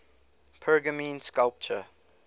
pergamene sculpture